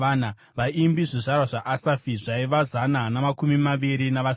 Vaimbi: zvizvarwa zvaAsafi zvaiva zana namakumi maviri navasere.